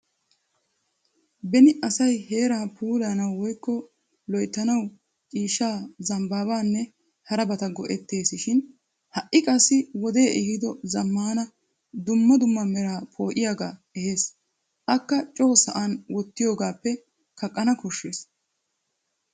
Beni asay heeraa puulayanawu woykko loyttanaw ciishsha zambbaanne harabata go'ettes shin ha'i qassi wodee ehido zammaana dumma dumma meraa poo'iyagaa ehes akka coo sa'an wottiyogappe kaqqana koshshes.